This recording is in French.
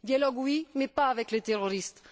Dialogue, oui, mais pas avec les terroristes!